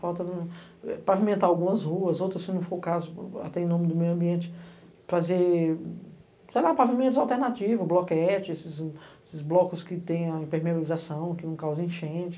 Falta pavimentar algumas ruas, outras se não for o caso, até em nome do meio ambiente, fazer pavimentos alternativos, bloquetes, esses blocos que têm impermeabilização, que não causam enchente.